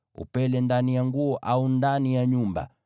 upele ndani ya nguo au ndani ya nyumba,